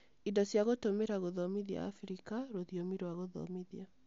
Indo cia Gũtũmĩra Gũthomithia Abirika: Rũthiomi rwa Gũthomithia